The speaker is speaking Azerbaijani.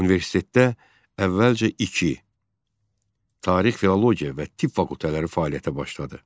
Universitetdə əvvəlcə iki, Tarix-Filologiya və Tibb fakültələri fəaliyyətə başladı.